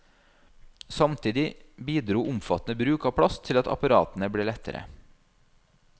Samtidig bidro omfattende bruk av plast til at apparatene ble lettere.